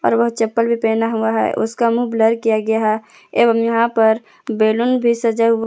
और वह चप्पल भी पहना हुआ है उसका मुंह ब्लर किया गया है एवं यहां पर बैलून भी सजा हुआ --